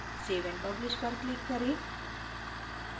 save and publish पर click करें